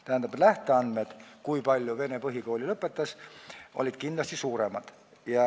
Tähendab, lähteandmed selle kohta, kui palju inimesi vene põhikooli lõpetas, olid kindlasti suuremad.